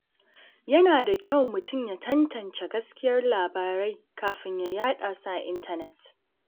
Yana da kyau mutum ya tantance gaskiyar labarai kafin ya yada su a intanet.